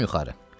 Çıxdım yuxarı.